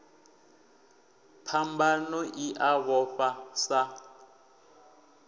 phambano i a vhofha sa